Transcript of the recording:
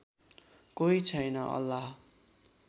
कोही छैन अल्लाह